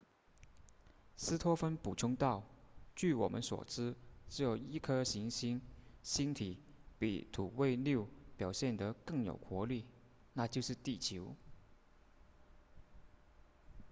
斯托芬补充道据我们所知只有一颗行星星体比土卫六表现得更有活力那就是地球